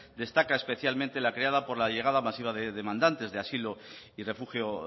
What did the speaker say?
destaca especialmente la creada por la llegada masiva de demandantes de asilo y refugio